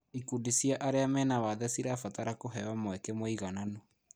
Ikundi cia arĩa mena wathe cirabatara kũheo mweke mũigananu.